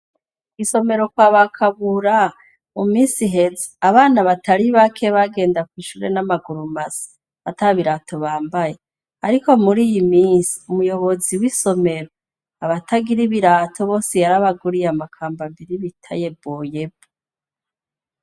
Kw'isomero kwaba Kabura mu misi iheze abana batari bake bagenda kw'ishure n'amaguru masa ata birato bambaye ariko mur'iyi misi ,umuyobozi w'isomero abatagira ibirato bose yarabaguriye amakambambiri bita yeboyebo.